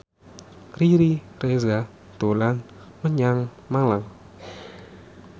Riri Reza dolan menyang Malang